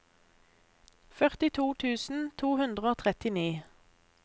førtito tusen to hundre og trettini